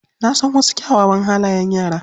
Na san wasu kyawawan halayen yara.